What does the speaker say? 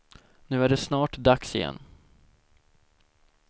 Nu är det snart dags igen.